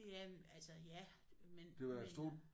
Ja men altså ja men men jeg